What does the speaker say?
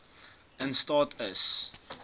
in staat is